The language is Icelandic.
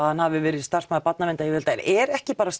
að hann hafi verið starfsmaður barnaverndaryfirvalda en er ekki bara